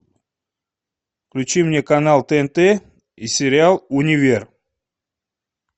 включи мне канал тнт и сериал универ